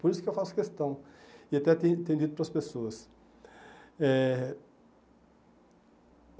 Por isso que eu faço questão e até tenho dito para as pessoas eh.